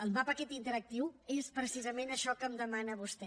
el mapa aquest interactiu és precisament això que em demana vostè